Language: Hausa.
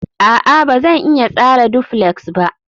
a'a, Ba zan iya tsara duflex ba